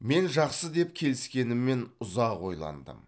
мен жақсы деп келіскеніммен ұзақ ойландым